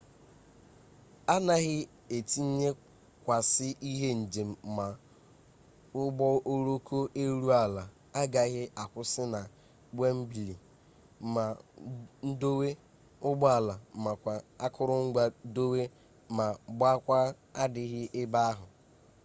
anaghị etinyekwasị ihe njem ma ụgbọoloko elu ala agaghị akwụsị na wembli ma ndowe ụgbọala makwa akụrụngwa dowe ma gbakwaa adịghị ebe ahụ